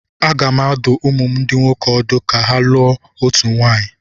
Aga m adụ ụmụ m ndị nwoke ọdụ ka ha lụọ otu nwaanyị.